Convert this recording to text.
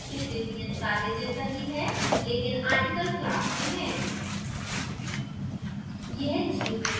यह नियत कार्य पिछले नियत कार्य जैसा ही है लेकिन article class में है